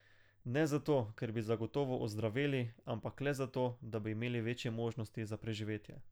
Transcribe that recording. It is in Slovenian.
Ne zato, ker bi zagotovo ozdraveli, ampak le zato, da bi imeli večje možnosti za preživetje.